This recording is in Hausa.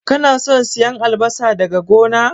Kana son siyan albasa daga gona?